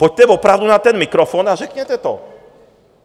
Pojďte opravdu na ten mikrofon a řekněte to.